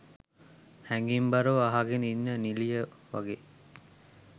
හැඟීම්බරව අහගෙන ඉන්න නිළිය වගේ